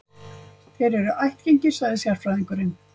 Þeir eru ættgengir, sagði sérfræðingurinn.